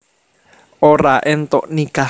Ora éntuk nikah